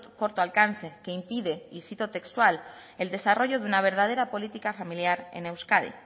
corto alcance que impide y cito textual el desarrollo de una verdadera política familiar en euskadi